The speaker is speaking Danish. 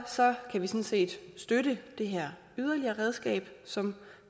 kan vi sådan set støtte det her yderligere redskab som